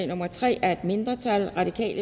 nummer tre af et mindretal